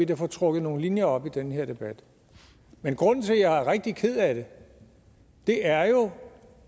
kan få trukket nogle linjer op i den her debat men grunden til at jeg er rigtig ked af det er jo